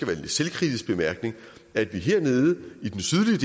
lidt selvkritisk bemærkning at vi hernede